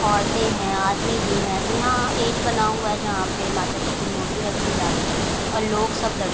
औरते हैं आदमी भी हैं तो यहाँ स्टेज बना हुआ है जहां पे माता जी की मूर्ति रखी जाती है और लोग सब दर्शन --